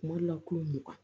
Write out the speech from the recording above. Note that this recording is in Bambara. Kuma dɔ la ko mugan